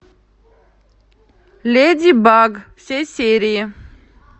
леди баг все серии